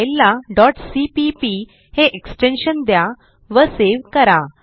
फाईलला cpp हे extension द्या व सेव्ह करा